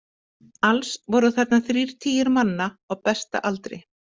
Alls voru þarna þrír tigir manna á besta aldri.